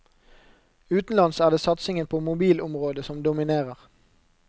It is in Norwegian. Utenlands er det satsingen på mobilområdet som dominerer.